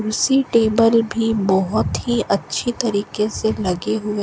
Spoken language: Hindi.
कुर्सी टेबल भी बहुत ही अच्छी तरीके से लगे हुए--